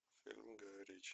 фильм гая ричи